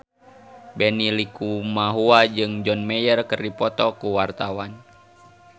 Benny Likumahua jeung John Mayer keur dipoto ku wartawan